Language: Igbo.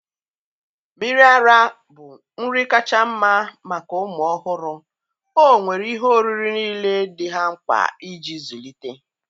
Mmiri ara ara bụ nri kacha mma maka ụmụ ọhụrụ, ọ nwere ihe oriri niile dị ha mkpa iji zụlite